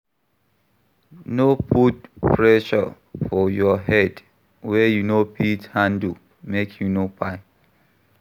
No put pressure for your head wey you no fit handle make you no kpai